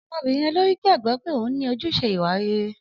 Ọmọbìnrin olórí gbàgbọ́ pé òun ní ojúṣe ìwà rere.